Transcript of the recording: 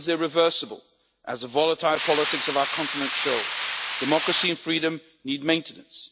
Nothing is irreversible, as the volatile politics of our continent show. Democracy and freedom need maintenance.